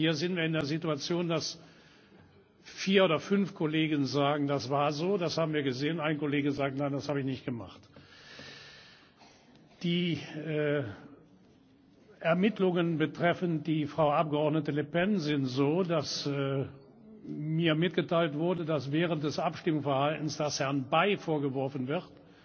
Denn hier sind wir in einer Situation, dass vier oder fünf Kollegen sagen Das war so, das haben wir gesehen, ein Kollege sagt Nein, das habe ich nicht gemacht. Die Ermittlungen betreffend die Frau Abgeordnete Le Pen sind so, dass mir mitgeteilt wurde, dass Frau Le Pen während des Abstimmverhaltens, das Herrn Bay vorgeworfen wird,